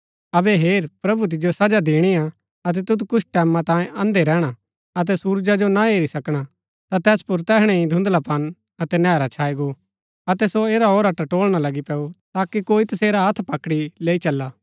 अबै हेर प्रभु तिजो सजा दिणी हा अतै तुद कुछ टैमां तांयें अंधे रैहणा अतै सुरजा जो ना हेरी सकणा ता तैस पुर तैहणै ही धुन्धलापन अतै नैहरा छाई गो अतै सो ऐराऔरा टटोलणा लगी पैऊ ताकि कोई तसेरा हत्थ पकड़ी लैई चला